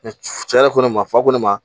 cɛ yɛrɛ ko ne ma fa ko ne ma